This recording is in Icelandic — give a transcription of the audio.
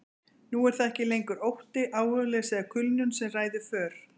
Nú er það ekki lengur ótti, áhugaleysi eða kulnun sem ræður för.